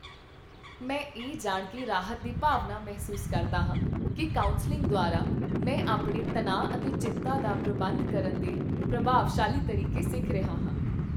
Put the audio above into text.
ਮੈਂ ਇਹ ਜਾਣ ਕੇ ਰਾਹਤ ਦੀ ਭਾਵਨਾ ਮਹਿਸੂਸ ਕਰਦਾ ਹਾਂ ਕੀ ਕਾਉਂਸਲਿੰਗ ਦੁਆਰਾ, ਮੈਂ ਆਪਣੇ ਤਣਾਅ ਅਤੇ ਚਿੰਤਾ ਦਾ ਪ੍ਰਬੰਧਨ ਕਰਨ ਦੇ ਪ੍ਰਭਾਵਸ਼ਾਲੀ ਤਰੀਕੇ ਸਿੱਖ ਰਿਹਾ ਹਾਂ।